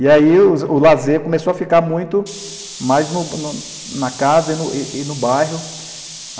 E aí o lazer começou a ficar muito mais no no na casa e e no bairro.